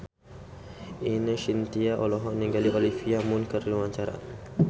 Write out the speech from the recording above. Ine Shintya olohok ningali Olivia Munn keur diwawancara